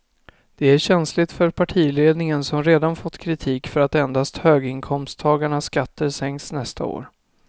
Det är känsligt för partiledningen som redan fått kritik för att endast höginkomsttagarnas skatter sänks nästa år.